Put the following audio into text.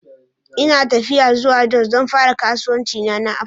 Ina tafiya zuwa jos don fara kasuwancina na Apple